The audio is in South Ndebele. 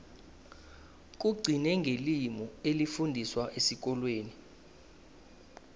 kugcine ngelimi elifundiswa esikolweni